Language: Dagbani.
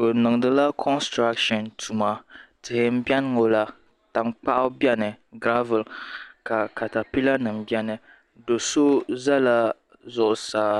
Bɛ nindila kontarata tuma tihi m biɛni ŋɔ la tankpaɣu biɛni garabuli ka katapila nima biɛni do'so zala zuɣusaa